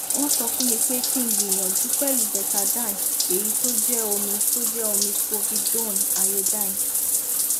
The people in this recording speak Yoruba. won sofunmi pe ki gbiyanju pelu betadine eyi to je omi to je omi povidone iodine